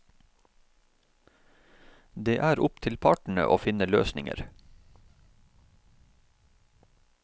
Det er opp til partene å finne løsninger.